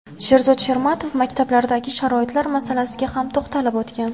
Sherzod Shermatov maktablardagi sharoitlar masalasiga ham to‘xtalib o‘tgan.